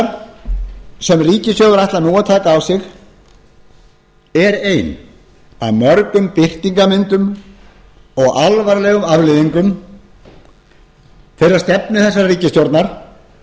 byrðar sem ríkissjóður ætlar nú að taka á sig er ein af mörgum birtingarmyndum og alvarlegum afleiðingum þeirrar stefnu þessarar ríkisstjórnar